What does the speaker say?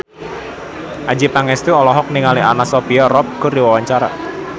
Adjie Pangestu olohok ningali Anna Sophia Robb keur diwawancara